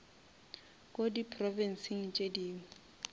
ko di provinsing tše dingwe